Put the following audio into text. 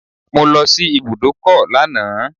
I went to the bus stop yesterday